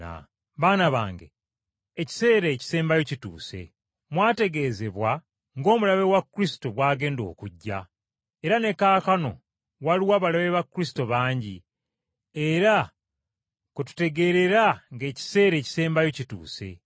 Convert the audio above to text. Baana bange, ekiseera ekisembayo kituuse. Mwategeezebwa ng’Omulabe wa Kristo bw’agenda okujja, era ne kaakano waliwo abalabe ba Kristo bangi, era kwe tutegeerera ng’ekiseera ekisembayo kituuse.